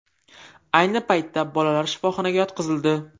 Ayni paytda bolalar shifoxonaga yotqizildi.